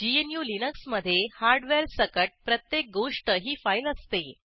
gnuलिनक्स मधे हार्डवेअर सकट प्रत्येक गोष्ट ही फाईल असते